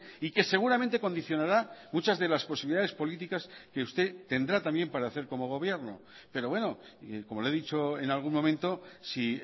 y que seguramente condicionará muchas de las posibilidades políticas que usted tendrá también para hacer como gobierno pero bueno como le he dicho en algún momento si